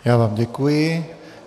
Já vám děkuji.